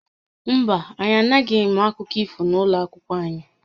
Mba, anyị anaghị eme akụkọ ifo n'ụlọ akwụkwọ anyị